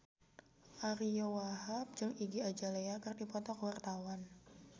Ariyo Wahab jeung Iggy Azalea keur dipoto ku wartawan